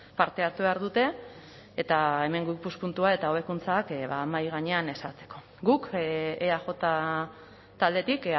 parte hartu behar dute eta hemengo ikuspuntua eta hobekuntzak mahai gainean ezartzeko guk eaj taldetik